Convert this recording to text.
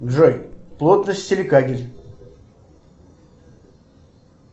джой плотность силикагель